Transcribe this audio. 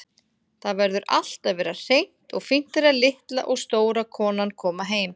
Það verður allt að vera hreint og fínt þegar litla og stóra konan koma heim.